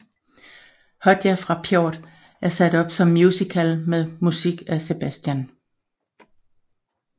Hodja fra Pjort er sat op som musical med musik af Sebastian